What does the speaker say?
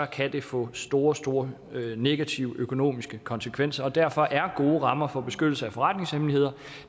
kan det få store store negative økonomiske konsekvenser og derfor er gode rammer for beskyttelse af forretningshemmeligheder